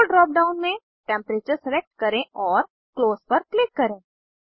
role drop down में temperature select करें और क्लोज पर क्लिक करें